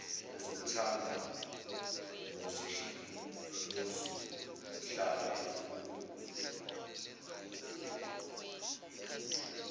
ozomthanda nozuhlala uphupha